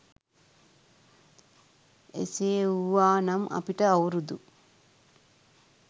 එසේ වූවා නම් අපිට අවුරුදු